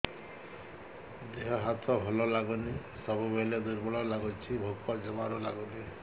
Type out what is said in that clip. ଦେହ ହାତ ଭଲ ଲାଗୁନି ସବୁବେଳେ ଦୁର୍ବଳ ଲାଗୁଛି ଭୋକ ଜମାରୁ ଲାଗୁନି